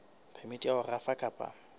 phemiti ya ho rafa kapa